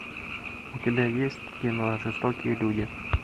у тебя есть кино жестокие люди